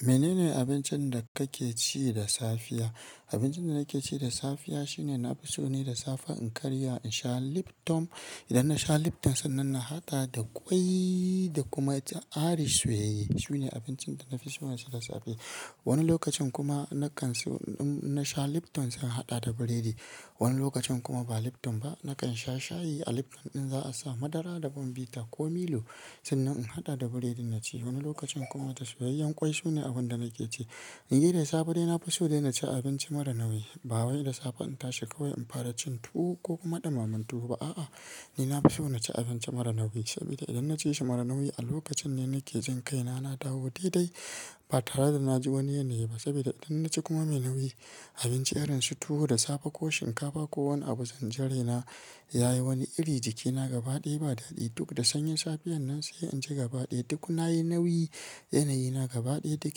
Menene abincin da kake ci da safiya. Abincin da nake ci da safiya shine nafi so ne da safe in karya in sha liptom. Idan na sha liptan sannan na haɗa da ƙwai da kuma ita arish soyayye. Sune abincin da nafi so na ci da safe. Wani lokacin kuma ina kan so in na sha lipton sai in haɗa da biredi. Wani lokacin kuma ba lipton ba nakan sha shayi a lipton ɗin za a sa madara da bombeta ko milo sannan in haɗa da biredi naci. Wani lokacin kuma da soyayyen ƙwai sune abun da nake ci. In yi da safe dai nafi so dai naci abinci mara nauyi ba wai da safe in tashi kawai in fara cin tuwo ko kuma dimaman tuwo ba aa. Ni nafi so na ci abinci mara nauyi saboda idan na ci shi mara nauyi a lokacin ne nake jin kai na na dawo daidai ba tare da na ji wani yanayi ba. Saboda idan na ci kuma mai nauyi abinci irin su tuwo da safe ko shinkafa ko wani abu zanjirai na yayi wani iri jikina gaba ɗaya ba dadi. Toh fah da sanyin safiyannan sai inji gaba daya duk nayi nauyi yanayina gaba daya duk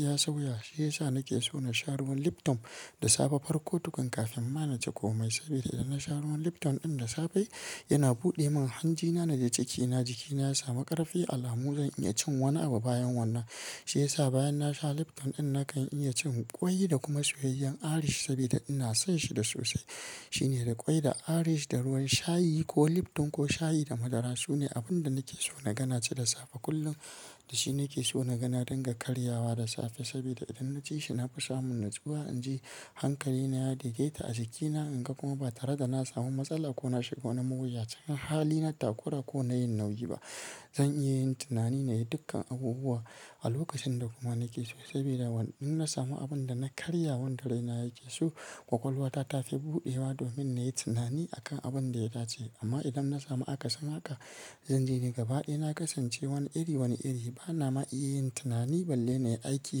ya sauya shi yasa nake so nasha ruwan lipton da safe farko tukun kafin ma naci komai saboda idan na sha ruwan lipton ɗin da safe yana buɗe min hanjina na jecikinat. Jikina ya samu ƙarfi. Alhamdu lillah zan iya cin wani abu bayan wannan. Shi ya sa bayan na sha lipton ɗin nakan iya cin ƙwai da kuma soyayyan arish sabida ina son shi da sosai. Tin da ƙwai da ariz da ruwan shayi ko lipton ko shayi da madara sune abun da nake so na gana ci da safe kullum. Da shi nake so na gana dinga karya wa da safe saboda idan na ci shi nafi samun nutsuwa. In ji hankalina ya daidai ta a jikina. In ga kuma ba tare da na samu matsala ko na shiga wani mayuyacin. Hali na takura ko na yin nauyi ba. Zan iya yin tunani na yi dukkkan abubuwa alokacin kuma da nake so sabida inna samu abinda na karya wanda raina yake so kwakwalwata tafi budewa domin nayi tunani akan abin da ya dace amma idan na samu aka sin haka zanji ni gaba ɗaya na kasance wani iri wani iri. Bana ma iya yin tunani balle na yi aiki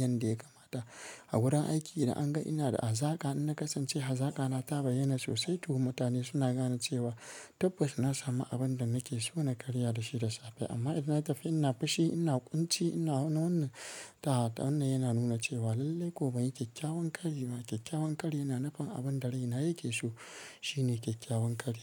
yanda ya kamata. A wurin aiki idan an ga ina da hazaka in na kasance hazaka na taba yyana sosai. Toh mutane suna gane cewa tabbas na samu abun da nake so na karya da shi da safe. Amma idan na tafi ina fushi ina ƙunci ina wannan ta wannan yana nuna cewa lallai ko banyi kyakyawan ƙari bane. Kyakkyawan kari yana nufin abinda raina yake so shine kyakkyawan kari.